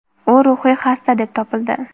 U ruhiy xasta deb topildi.